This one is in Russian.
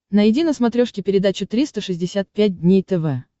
найди на смотрешке передачу триста шестьдесят пять дней тв